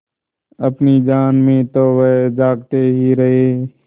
अपनी जान में तो वह जागते ही रहे